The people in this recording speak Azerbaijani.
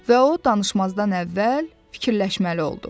Və o danışmazdan əvvəl fikirləşməli oldu.